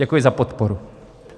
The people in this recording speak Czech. Děkuji za podporu.